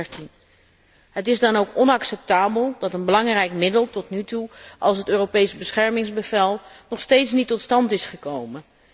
2013. Het is dan ook onacceptabel dat een belangrijk middel zoals het Europees beschermingsbevel nog steeds niet tot stand is gekomen.